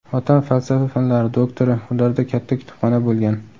Otam falsafa fanlari doktori, ularda katta kutubxona bo‘lgan.